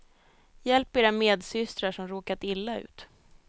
Hjälp era medsystrar, som råkat illa ut.